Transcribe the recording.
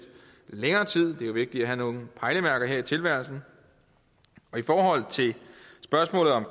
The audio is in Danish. længere tid er jo vigtigt at have nogle pejlemærker her i tilværelsen i forhold til spørgsmålet om